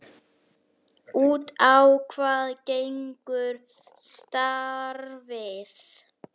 Út á hvað gengur starfið?